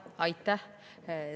Aitäh!